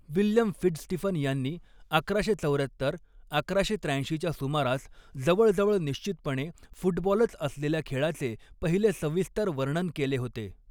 William FitzStephen यांनी अकराशे चौऱ्यात्तर अकराशे त्र्याऐंशीच्या सुमारास जवळजवळ निश्चितपणे फुटबॉलच असलेल्या खेळाचे पहिले सविस्तर वर्णन केले होते.